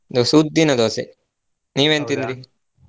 Dosa ಉದ್ದಿನ Dosa ನೀವೇನ್ ತಿಂದ್ರಿ? .